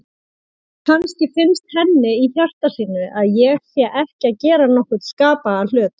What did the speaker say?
Kannski finnst henni í hjarta sínu að ég sé ekki að gera nokkurn skapaðan hlut.